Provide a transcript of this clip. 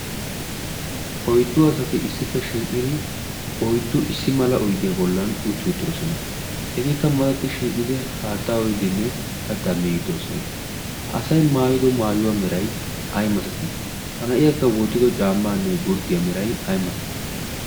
oiddu asati issippe shiiqiri oiddu issi mala oiddiyaa bollan utti uttidosona. etiikka matatti shiiqidi haatta oidinne kattaa miidoosona. ha asai maayido maayuwaa merai ai masatii? ha na7iyaakka wootido caammaanne gurddiyaa merai ai masatii?